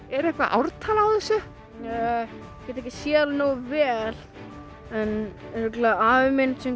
er eitthvað ártal á þessu ég get ekki séð það nógu vel en afi minn